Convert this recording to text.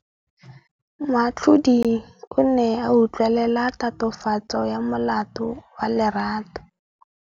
Moatlhodi o ne a utlwelela tatofatsô ya molato wa Lerato.